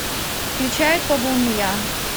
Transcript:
включай то был не я